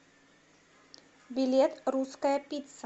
билет русская пицца